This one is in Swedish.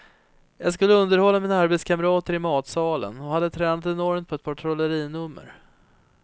Jag skulle underhålla mina arbetskamrater i matsalen och hade tränat enormt på ett par trollerinummer.